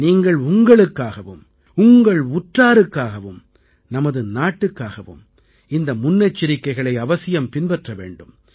நீங்கள் உங்களுக்காகவும் உங்கள் உற்றாருக்காகவும் நமது நாட்டுக்காகவும் இந்த முன்னெச்சரிக்கைகளை அவசியம் பின்பற்ற வேண்டும்